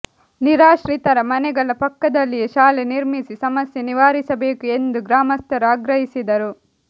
ನಿರಾಶ್ರಿತರ ಮನೆಗಳ ಪಕ್ಕದಲ್ಲಿಯೇ ಶಾಲೆ ನಿರ್ಮಿಸಿ ಸಮಸ್ಯೆ ನಿವಾರಿಸಬೇಕು ಎಂದು ಗ್ರಾಮಸ್ಥರು ಆಗ್ರಹಿಸಿದರು